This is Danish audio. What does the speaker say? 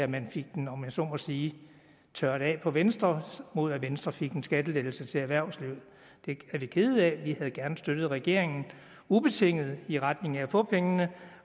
man fik den om jeg så må sige tørret af på venstre mod at venstre fik en skattelettelse til erhvervslivet det er vi kede af vi havde gerne støttet regeringen ubetinget i retning af at få pengene